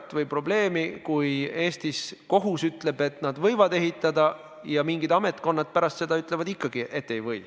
Patsientide omaosalus ühe retsepti kohta oli 2018. aastal keskmiselt 6,31 eurot, mis võrreldes 2017. aastaga oli tänu täiendavale ravimihüvitisele 8% väiksem.